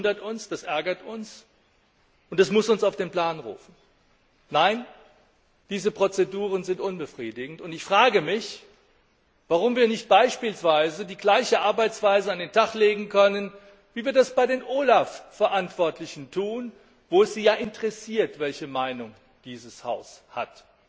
Das wundert uns, das ärgert uns und das muss uns auf den Plan rufen. Nein, diese Prozeduren sind unbefriedigend, und ich frage mich, warum wir nicht beispielsweise die gleiche Arbeitsweise an den Tag legen können, wie wir das bei den OLAF Verantwortlichen tun, wo es Sie ja interessiert, welche Meinung dieses Haus hat.